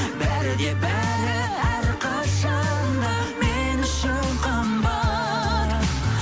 бәрі де бәрі әрқашан да мен үшін қымбат